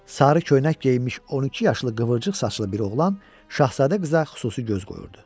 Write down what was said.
Sarı köynək geyinmiş 12 yaşlı qıvırcıq saçlı bir oğlan Şahzadə qıza xüsusi göz qoyurdu.